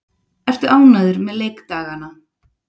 Ertu ánægður með leikdagana?